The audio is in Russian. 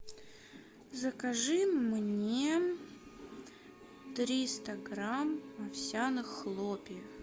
закажи мне триста грамм овсяных хлопьев